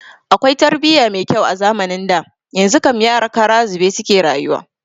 Akwai tarbiya mai kyau a zamanin da, yanzu kam yara kara zube suke rayuwa